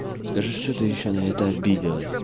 скажи что ты ещё на это обиделась